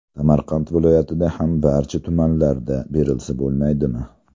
Samarqand viloyatida ham barcha tumanlarda berilsa bo‘lmaydimi?”.